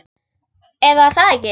Eða er það ekki?